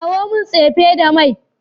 Kawo min tsefe da mai.